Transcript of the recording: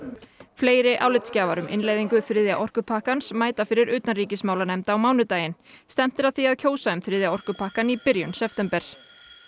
fleiri álitsgjafar um innleiðingu þriðja orkupakkans mæta fyrir utanríkismálanefnd á mánudaginn stefnt er að því að kjósa um þriðja orkupakkann í byrjun september